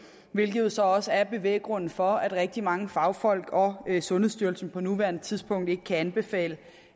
hvilket jo så også er bevæggrunden for at rigtig mange fagfolk og sundhedsstyrelsen på nuværende tidspunkt ikke kan anbefale